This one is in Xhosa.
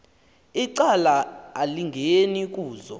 icala elingeni kuzo